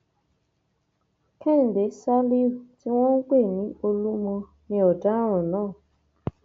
kẹhìndé ṣálíù tí wọn ń pè ní olúmọ ní ọdaràn náà